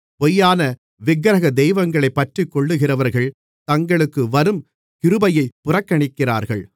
பொய்யான விக்கிரக தெய்வங்களைப் பற்றிக்கொள்ளுகிறவர்கள் தங்களுக்கு வரும் கிருபையைப் புறக்கணிக்கிறார்கள்